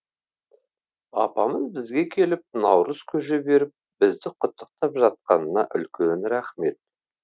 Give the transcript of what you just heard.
апамыз бізге келіп наурыз көже беріп бізді құттықтап жатқанына үлкен рахмет